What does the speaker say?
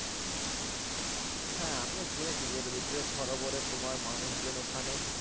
হ্যাঁ আমিও শুনেছি যে রবীন্দ্র সরোবরে তোমার মানুষজন ওখানে